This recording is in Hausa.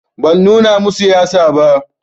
Ban nuna masu yatsa ba